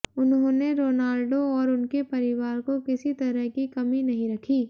उन्होंने रोनाल्डो और उनके परिवार को किसी तरह की कमी नहीं रखी